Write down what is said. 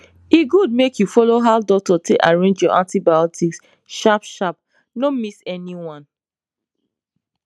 e good make you follow how doctor take arrange your antibiotics sharp sharp no miss any one